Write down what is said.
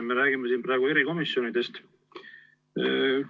Me räägime siin praegu erikomisjonidest.